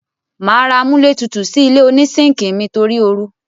Màá ra amúlétutù sí ilé onísíńkì mi torí oru.